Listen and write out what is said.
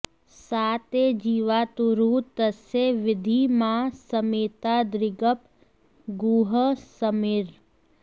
सा ते जीवातुरुत तस्य विद्धि मा स्मैतादृगप गूहः समर्ये